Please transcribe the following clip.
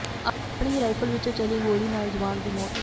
ਆਪਣੀ ਹੀ ਰਾਈਫਲ ਵਿੱਚੋਂ ਚੱਲੀ ਗੋਲੀ ਨਾਲ ਜਵਾਨ ਦੀ ਮੌਤ